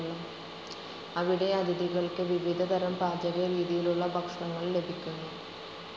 അവിടെ അതിഥികൾക്ക് വിവിധ തരം പാചകരീതിയിലുള്ള ഭക്ഷണങ്ങൾ ലഭിക്കുന്നു.